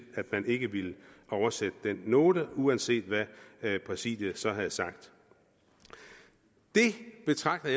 at man ikke ville oversætte den note uanset hvad præsidiet så havde sagt det betragter